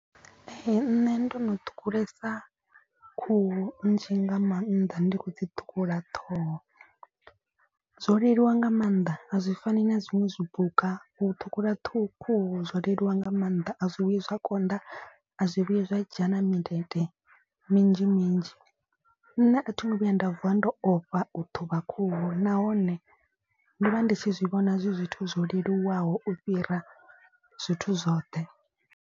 Ee nṋe ndo no ṱhukhulesa khuhu nzhi nga maanḓa ndi khou dzi ṱhukhula ṱhoho. Zwo leluwa nga maanḓa a zwi fani na zwiṅwe zwipuka u ṱhukhula khuhu zwo leluwa nga maanḓa a zwi vhuyi zwa konḓa a zwi vhuyi zwa dzhena mindende minzhi minzhi. Nṋe a thi ngo vhuya nda vuwa ndo ofha u ṱhuvha khuhu nahone ndo vha ndi tshi zwi vhona zwi zwithu zwo leluwaho u fhira zwithu zwoṱhe.